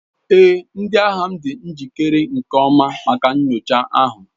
Ee, ndi agha m dị njikere nke ọma maka nyocha ahụ.